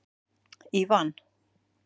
Ívan